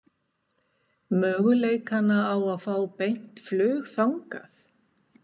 Möguleikana á að fá beint flug þangað?